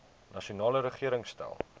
nasionale regering stel